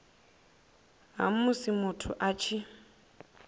ha musi muthu a tshi